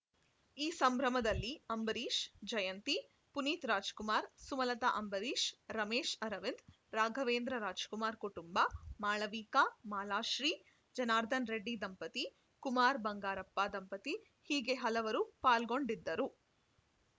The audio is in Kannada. ಈ ಸಂಭ್ರಮದಲ್ಲಿ ಅಂಬರೀಶ್‌ ಜಯಂತಿ ಪುನೀತ್‌ರಾಜ್‌ ಕುಮಾರ್‌ ಸುಮಲತಾ ಅಂಬರೀಶ್‌ ರಮೇಶ್‌ ಅರವಿಂದ್‌ ರಾಘವೇಂದ್ರ ರಾಜ್‌ಕುಮಾರ್‌ ಕುಟುಂಬ ಮಾಳವಿಕಾ ಮಾಲಾಶ್ರೀ ಜನಾರ್ದನ್‌ ರೆಡ್ಡಿ ದಂಪತಿ ಕುಮಾರ್‌ ಬಂಗಾರಪ್ಪ ದಂಪತಿ ಹೀಗೆ ಹಲವರು ಪಾಲ್ಗೊಂಡಿದ್ದರು